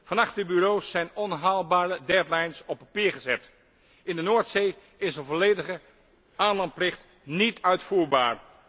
Vanachter bureaus zijn onhaalbare deadlines op papier gezet. In de Noordzee is een volledige aanlandplicht niet uitvoerbaar.